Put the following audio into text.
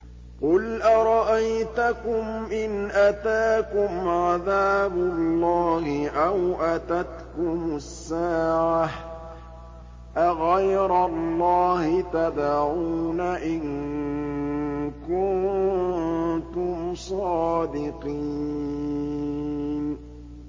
قُلْ أَرَأَيْتَكُمْ إِنْ أَتَاكُمْ عَذَابُ اللَّهِ أَوْ أَتَتْكُمُ السَّاعَةُ أَغَيْرَ اللَّهِ تَدْعُونَ إِن كُنتُمْ صَادِقِينَ